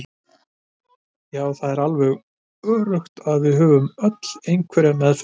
Já það er alveg öruggt að við höfum öll einhverja meðfædda hæfileika.